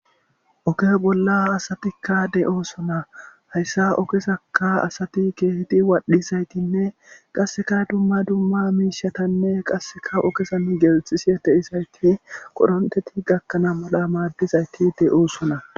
oke bolla asatikka de7oo sona hayssa okesaka asati keeti waadhisaytinne qasseka dumma dumma miishatanne qasseka okesa nu geelxisie te isayti qoronteti gakkana mala maaddizayti de7oosona